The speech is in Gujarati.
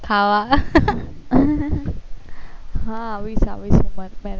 ખાવા હા આવીશ આવીશ તમાર માં